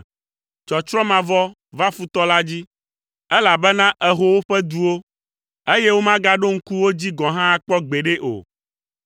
Tsɔtsrɔ̃ mavɔ va futɔ la dzi, elabena èho woƒe duwo, eye womagaɖo ŋku wo dzi gɔ̃ hã akpɔ gbeɖe o.